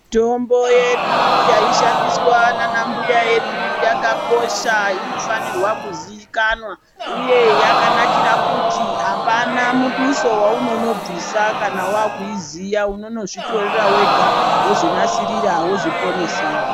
Mitombo yedu yaishandiswa nanambuya yedu, yakakosha inofanirwa kuziyikanwa, uye yakanakira kuti apana muduso waunono bvisa kana wakuyiziya, unonozvitorera wega, wozvinasirira wozviponesa.